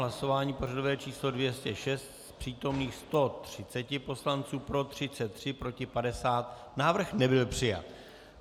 Hlasování pořadové číslo 206, z přítomných 130 poslanců pro 33, proti 50, návrh nebyl přijat.